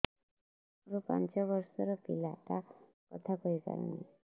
ମୋର ପାଞ୍ଚ ଵର୍ଷ ର ପିଲା ଟା କଥା କହି ପାରୁନି